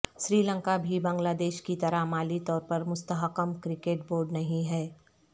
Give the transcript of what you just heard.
سری لنکا بھی بنگلہ دیش کی طرح مالی طور پر مستحکم کرکٹ بورڈ نہیں ہے